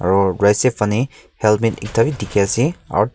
Aro right side phanne helmet ekta bhi dekhey ase aro tik--